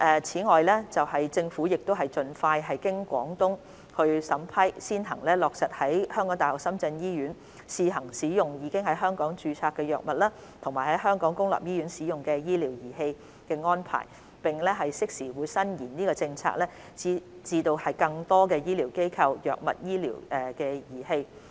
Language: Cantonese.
此外，政府將盡快經廣東省審批，先行落實在香港大學深圳醫院試行使用已在香港註冊的藥物和香港公立醫院使用的醫療儀器的安排，並適時延伸政策至更多醫療機構、藥物及醫療儀器。